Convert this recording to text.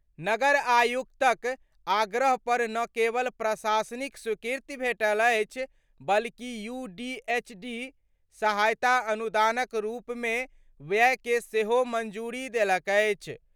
नगर आयुक्तक आग्रह पर न केवल प्रशासनिक स्वीकृति भेटल अछि, बल्कि यूडीएचडी सहायता अनुदानक रूपमे व्ययके सेहो मंजूरी देलक अछि।